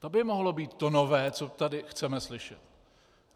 To by mohlo být to nové, co tady chceme slyšet.